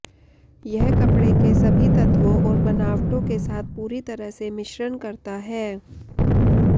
यह कपड़े के सभी तत्वों और बनावटों के साथ पूरी तरह से मिश्रण करता है